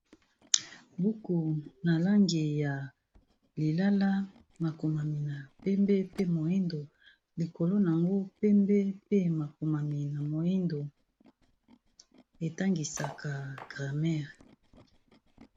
Buku na langi ya lilala makomami na pembe pe moyindo, likolo na yango pembe mpe makomami na moyindo etangisaka grammaire.